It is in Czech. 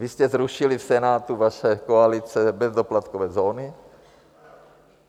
Vy jste zrušili v Senátu, vaše koalice, bezdoplatkové zóny.